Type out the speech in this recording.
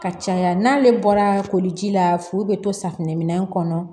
Ka caya n'ale bɔra koli ji la furu bɛ to safunɛ min kɔnɔ